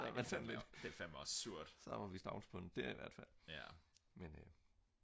så er var vi stavnsbundet der i hvert fald men